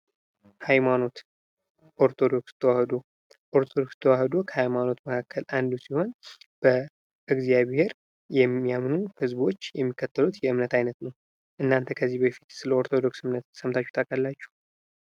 ሃይማኖት ኦርቶዶክስ ተዋህዶ ኦርቶዶክስ ተዋህዶ ከሃይማኖት መካከል አንዱ ሲሆን በእግዚአብሔር የሚያምኑ ህዝቦች የሚከተሉት የእምነት ዓይነት ነው። እናንተ ከዚህ በፊት ስለ ኦርቶዶክስ እምነት ሰምታችሁ ታውቃላችሁ?